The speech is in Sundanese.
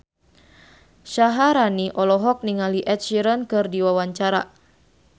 Syaharani olohok ningali Ed Sheeran keur diwawancara